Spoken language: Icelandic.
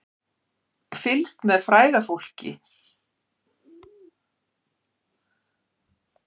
Fylgst með fræga fólkinu